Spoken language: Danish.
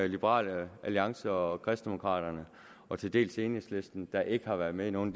liberal alliance og kristendemokraterne og til dels enhedslisten der ikke har været med i nogen